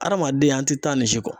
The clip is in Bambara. Adamaden an ti taa nin si kɔ.